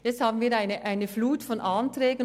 Nun haben wir eine Flut von Anträgen.